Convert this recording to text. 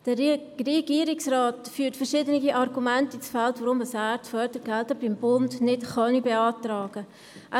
Der Regierungsrat führt verschiedene Argumente ins Feld, warum er die Fördergelder beim Bund nicht beantragen könne.